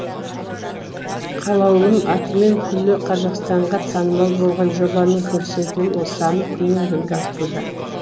қалаулым атымен күллі қазақстанға танымал болған жобаның көрсетілім саны күннен күнге артуда